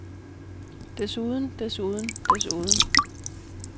desuden desuden desuden